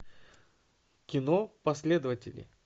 кино последователи